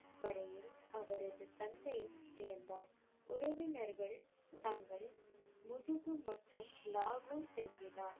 வரையில் அவரது தந்தையும் இருந்தார். உறவினர்கள் தங்கள் மற்றும் லாகூர் திரும்பினார்.